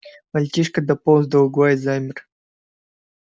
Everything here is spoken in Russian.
мальчишка дополз до угла и замер